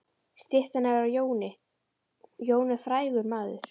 Styttan er af Jóni. Jón er frægur maður.